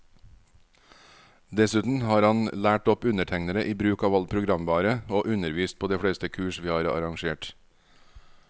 Dessuten har han lært opp undertegnede i bruk av all programvare, og undervist på de fleste kurs vi har arrangert.